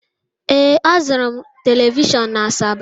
Ee, azụrụ m telivishọn na Asaba.